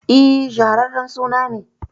E, shaharren suna ne.